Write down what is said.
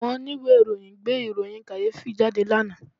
Àwọn oníwèé ìròyìn gbé ìròyìn kàyéfì jáde lánàá